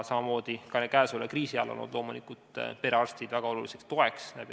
Samamoodi on käesoleva kriisi ajal olnud perearstid loomulikult väga oluliseks toeks.